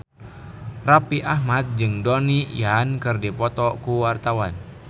Raffi Ahmad jeung Donnie Yan keur dipoto ku wartawan